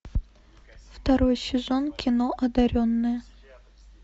второй сезон кино одаренные